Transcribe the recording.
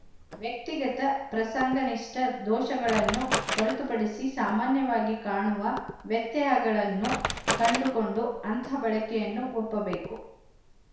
ವ್ಯಕ್ತಿಗತ ಪ್ರಸಂಗನಿಷ್ಠ ದೋಶಗಳನ್ನು ಹೊರತುಪಡಿಸಿ ಸಾಮಾನ್ಯವಾಗಿ ಕಾಣುವ ವ್ಯತ್ಯಯಗಳನ್ನು ಕಂಡುಕೊಂಡು ಅಂಥ ಬಳಕೆಯನ್ನು ಒಪ್ಪಬೇಕು